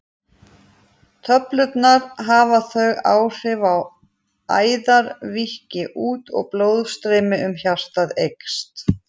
Töflurnar hafa þau áhrif að æðar víkka út og blóðstreymi um hjartað eykst.